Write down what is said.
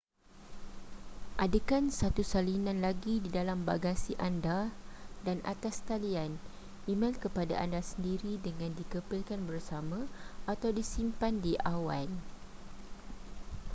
adakan satu salinan lagi di dalam bagasi anda dan atas talian emel kepada anda sendiri dengan dikepilkan bersama atau disimpan di awan”